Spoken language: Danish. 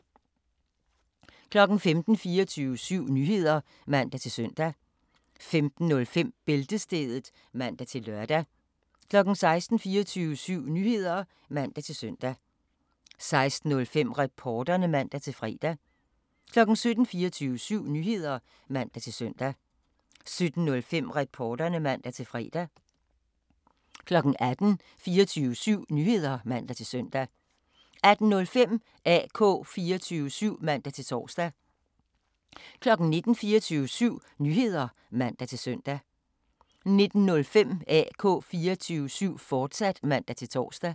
15:00: 24syv Nyheder (man-søn) 15:05: Bæltestedet (man-lør) 16:00: 24syv Nyheder (man-søn) 16:05: Reporterne (man-fre) 17:00: 24syv Nyheder (man-søn) 17:05: Reporterne (man-fre) 18:00: 24syv Nyheder (man-søn) 18:05: AK 24syv (man-tor) 19:00: 24syv Nyheder (man-søn) 19:05: AK 24syv, fortsat (man-tor)